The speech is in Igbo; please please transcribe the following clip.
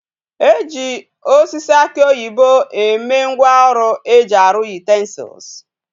E ji osisi aki oyibo eme ngwa oru eji aru utensils